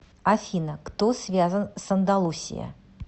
афина кто связан с андалусия